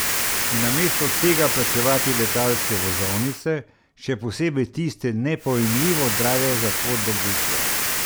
In namesto tega plačevati letalske vozovnice, še posebej tiste nepojmljivo drage za pot do Bruslja.